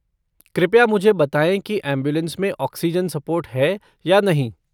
कृपया मुझे बताएँ कि ऐम्बुलेन्स में ऑक्सीजन सपोर्ट है या नहीं।